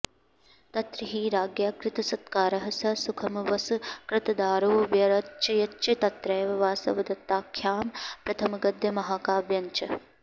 तत्र हि राज्ञा कृतसत्कारः स सुखमवसकृतदारो व्यरचयच्च तत्रैव वासवदत्ताख्यं प्रथमगद्यमहाकाव्यञ्च